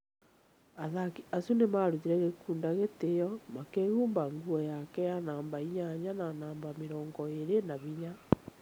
Athaki acio nĩ maarutire Gikunda gĩtĩo makĩhumba nguo yake ya namba inyanya na namba mĩrongo ĩĩrĩ na hinya.